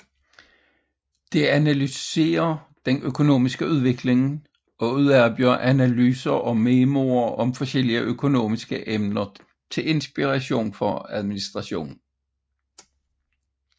Det analyserer den økonomiske udvikling og udarbejder analyser og memoer om forskellige økonomiske emner til inspiration for administrationen